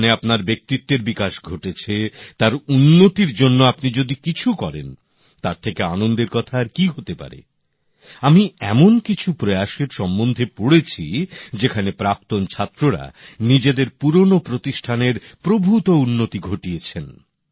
যেখানে আপনার ব্যক্তিত্বের বিকাশ ঘটেছে তার উন্নতির জন্যে আপনি যদি কিছু করেন তার থেকে আনন্দের কথা আর কী হতে পারে আমি এমন কিছু প্রয়াসের সম্বন্ধে পড়েছি যেখানে প্রাক্তন ছাত্ররা নিজেদের পুরনো প্রতিষ্ঠানের প্রভূত উন্নতি ঘটিয়েছেন